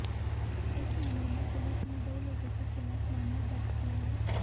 इस मामले में पुलिस ने दो लोगों के खिलाफ मामला दर्ज किया है